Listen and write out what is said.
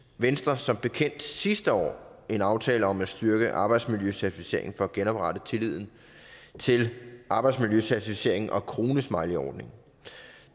venstre som bekendt sidste år en aftale om at styrke arbejdsmiljøcertificeringen for at genoprette tilliden til arbejdsmiljøcertificeringen og kronesmileyordningen